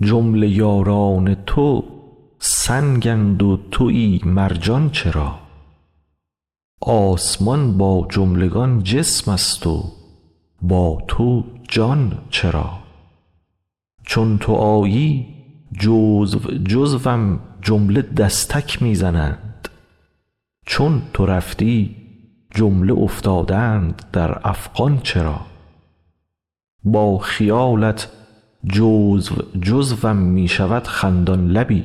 جمله یاران تو سنگند و توی مرجان چرا آسمان با جملگان جسمست و با تو جان چرا چون تو آیی جزو جزوم جمله دستک می زنند چون تو رفتی جمله افتادند در افغان چرا با خیالت جزو جزوم می شود خندان لبی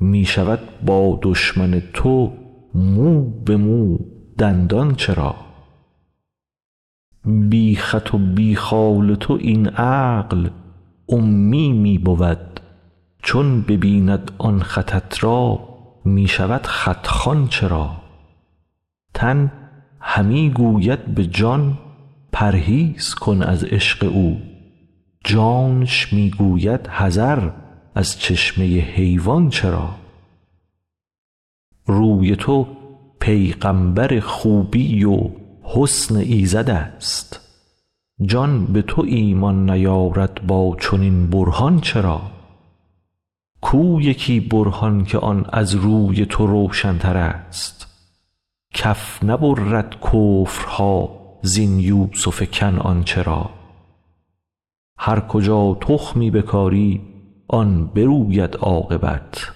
می شود با دشمن تو مو به مو دندان چرا بی خط و بی خال تو این عقل امی می بود چون ببیند آن خطت را می شود خط خوان چرا تن همی گوید به جان پرهیز کن از عشق او جانش می گوید حذر از چشمه حیوان چرا روی تو پیغامبر خوبی و حسن ایزدست جان به تو ایمان نیارد با چنین برهان چرا کو یکی برهان که آن از روی تو روشنترست کف نبرد کفرها زین یوسف کنعان چرا هر کجا تخمی بکاری آن بروید عاقبت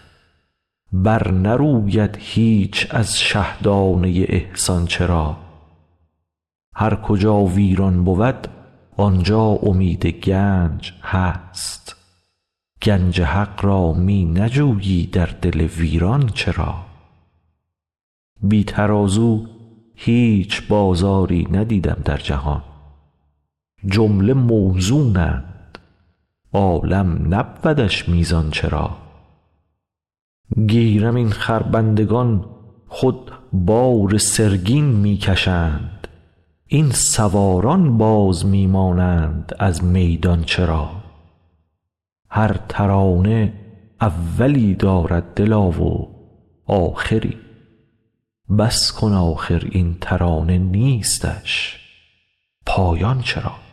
برنروید هیچ از شه دانه ی احسان چرا هر کجا ویران بود آن جا امید گنج هست گنج حق را می نجویی در دل ویران چرا بی ترازو هیچ بازاری ندیدم در جهان جمله موزونند عالم نبودش میزان چرا گیرم این خربندگان خود بار سرگین می کشند این سواران باز می مانند از میدان چرا هر ترانه اولی دارد دلا و آخری بس کن آخر این ترانه نیستش پایان چرا